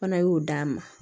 Fana y'o d'a ma